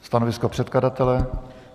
Stanovisko předkladatele?